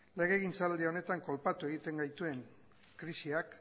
legegintzaldi honetan kolpatu egiten gaituen krisiak